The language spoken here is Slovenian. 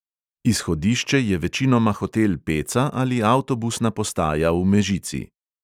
Izhodišče je večinoma hotel peca ali avtobusna postaja v mežici.